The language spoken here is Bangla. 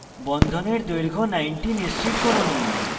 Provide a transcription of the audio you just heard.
বন্ধনের দৈর্ঘ্য 90 নিশ্চিত করুন